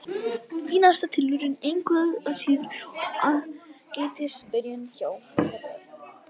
Fínasta tilraun engu að síður og ágætis byrjun hjá Garðbæingunum.